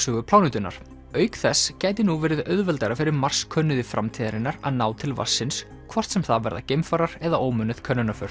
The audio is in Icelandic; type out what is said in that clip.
loftslagssögu plánetunnar auk þess gæti nú verið auðveldara fyrir Mars könnuðu framtíðarinnar að ná til vatnsins hvort sem það verða geimfarar eða ómönnuð